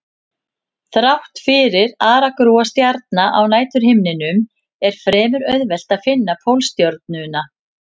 Þrátt fyrir aragrúa stjarna á næturhimninum er fremur auðvelt að finna Pólstjörnuna.